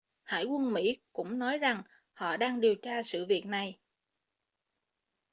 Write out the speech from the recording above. hải quân mỹ cũng nói rằng họ đang điều tra sự việc này